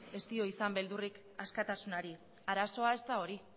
ez dio izan beldurrik askatasunari arazoa ez da hori